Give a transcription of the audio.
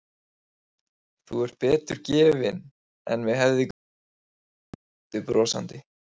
Þú ert betur gefinn en mig hefði grunað sagði Tóti brosandi.